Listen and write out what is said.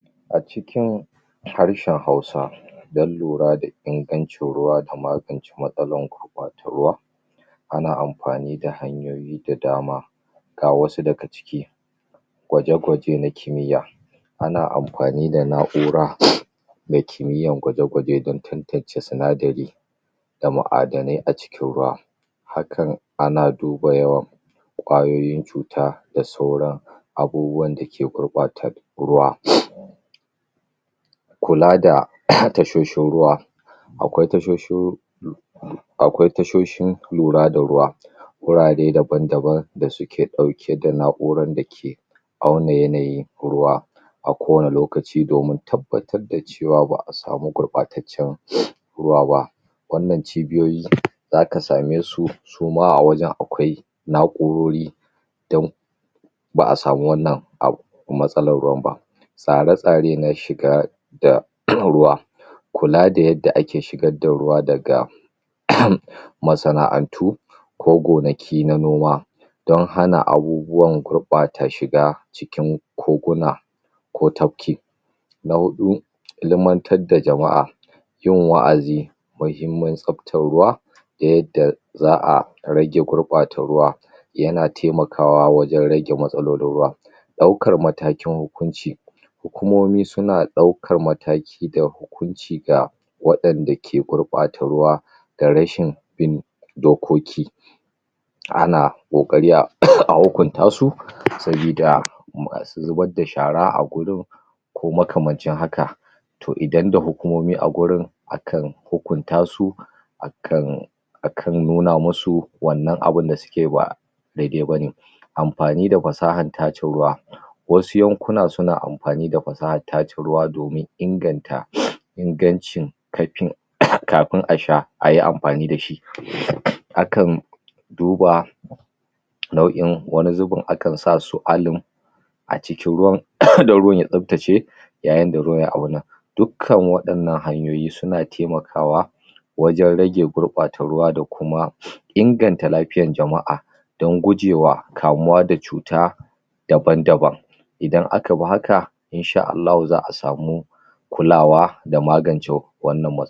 acikin harshen hausa dan lura da ingancin ruwa da magance matsalan gurɓata ruwa ana anfani da hanyoyi da dama ga wasu daga ciki gwaje gwaje na kimiya 'ana anfani da na'ura mai kimiyan gwaje gwaje dan tantance sinadari da mu'adanai aciki ruwa hakan ana duba yawan ƙwayoyin cu ta da sauran abubuwan dake gurɓatar ruwa kula da a tashoshin ruwa akwai tashoshin akwai tashoshin lura da ruwa warare daban daban da suke ɗauke da na'uran dake awannan yanayi ruwa a kowani lokaci domin tabbatar da cewa ba'a samu gurɓataccen ruwa ba wannan cibiyoyi zaka same su suma a wajan akwau na'urori dan ba 'samu wannan abu matsalan ruwan ba tsare tsare na shiga da kan ruwa kula da yadda ake shigadda ruwa daga masana'antu ko gonaki na noma don hana abubuwan gurɓata shiga cikin koguna ko tabki na huɗu ilimantar ja hama'a yin wa'azi muhimman tsabtan ruwa yadada za'a rage gurɓata ruwa yana taimakawa wajen rage matsalolin ruwa ɗaukar matakin hukunci hukumomi suna ɗau kar mataki da hukunci ga waɗan dake gurɓata ruwa da rashin bin dokoki ana ƙoƙari a a hukunta su sabida masu zubar da shara a gurin ko makamancin haka to idan da hukumomi a gurin akan hukuntasu akan akan nuna musu wannan abu da suka ceba dadai bane anfani da fasahan tace ruwa wasu yankuna suna anfani da fasahan tace ruwa domin inganta ingancin kaifin kafin asha ayi anfani da shi hakan duba nau; in, wani zubin akan sasu alum acikin ruwan dan ruwan ya tsabtace yayin da ruwan ya auna duk kan waɗannan hayoyi suna taimakwa wajen rage gurɓata ruwa da kuma inganta lafiyan jama'a don gujewa kamuwa da cuta daban daban idan aka bi haka inshaa ALLAHU za'a samu kulawa da magance wannan matsal